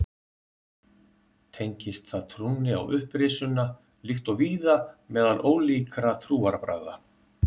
tengist það trúnni á upprisuna líkt og víða meðal ólíkra trúarbragða